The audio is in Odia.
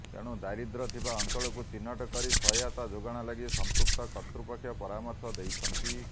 ତେଣୁ ଦାରିଦ୍ର୍ୟ ଥିବା ଅଞ୍ଚଳକୁ ଚିହ୍ନଟ କରି ସହାୟତା ଯୋଗାଣ ଲାଗି ସଂପୃକ୍ତ କର୍ତୃପକ୍ଷ ପରାମର୍ଶ ଦେଇଛନ୍ତି